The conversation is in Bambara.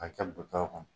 K'a kɛ butɔw kɔnɔ